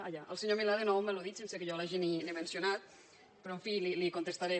ah ja el senyor milà de nou m’ha al·ludit sense que jo l’hagi ni mencionat però en fi li contestaré